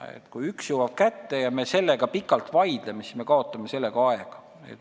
Nii et kui ühe kord jõuab kätte ja me selle üle pikalt vaidleme, siis me kaotame aega.